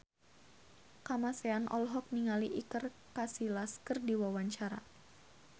Kamasean olohok ningali Iker Casillas keur diwawancara